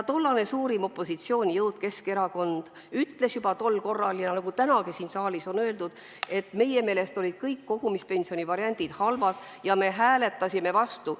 Tollane suurim opositsioonijõud Keskerakond ütles juba siis – nagu on tänagi siin saalis öeldud –, et meie meelest olid kõik kogumispensioni variandid halvad, ning me hääletasime vastu.